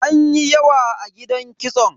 Anyi yawa a gidan kitson.